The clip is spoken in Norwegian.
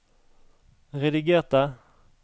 redigerte